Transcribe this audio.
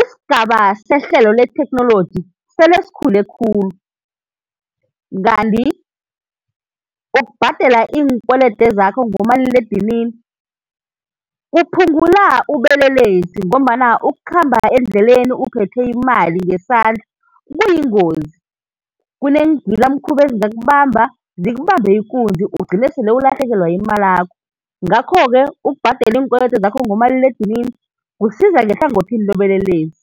Isigaba sehlelo letheknoloji sele sikhule khulu, kanti ukubhadela iinkwelede zakho ngomaliledinini kuphungula ubelelesi ngombana ukukhamba endleleni uphethe imali ngesandla kuyingozi, kuneengilamkhuba ezingakubamba, zikubambe ikunzi ugcine sele ulahlekelwa yimalakho. Nagakho-ke ukubhadela iinkwelede zakho ngomaliledinini kusiza nehlangothini lobelelesi.